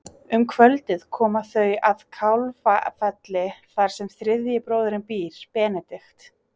Um kvöldið koma þau að Kálfafelli þar sem þriðji bróðirinn býr, Benedikt.